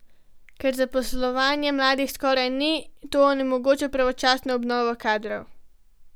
Ker zaposlovanja mladih skoraj ni, to onemogoča pravočasno obnovo kadrov.